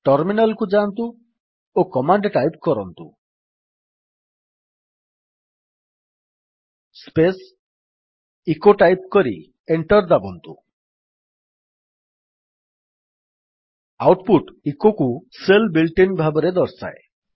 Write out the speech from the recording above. terminal କୁ ଯାଆନ୍ତୁ ଓ କମାଣ୍ଡ ଟାଇପ୍ କରନ୍ତୁ ସ୍ପେସ୍ ଇକୋ ଟାଇପ୍ କରି ଏଣ୍ଟର୍ ଦାବନ୍ତୁ ଆଉଟ୍ ପୁଟ୍ ଇକୋକୁ ଶେଲ୍ ବିଲ୍ଟ୍ ଇନ୍ ଭାବରେ ଦର୍ଶାଏ